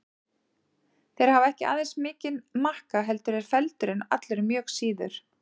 Þeir hafa ekki aðeins mikinn makka heldur eru feldurinn allur mjög síður.